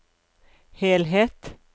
helhet